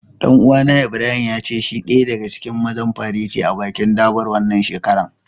Dan uwa na Ibrahim, ya ce shi daya daga cikin mazan fareti a'bikin Durbar wanan shekaran.